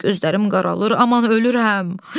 Gözlərim qaralır, aman ölürəm.